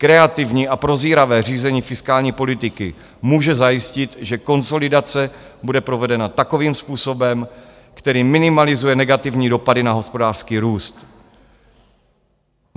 Kreativní a prozíravé řízení fiskální politiky může zajistit, že konsolidace bude provedena takovým způsobem, který minimalizuje negativní dopady na hospodářský růst.